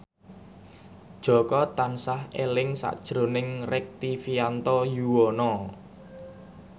Jaka tansah eling sakjroning Rektivianto Yoewono